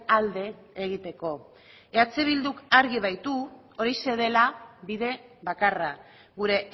alde egiteko eh bilduk argi baitu horixe dela bide bakarra gure